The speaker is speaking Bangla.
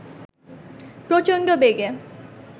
প্রচণ্ড বেগে